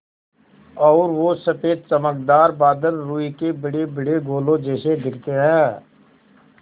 और वो सफ़ेद चमकदार बादल रूई के बड़ेबड़े गोलों जैसे दिखते हैं